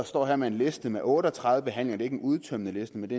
står her med en liste med otte og tredive behandlinger det er ikke en udtømmende liste men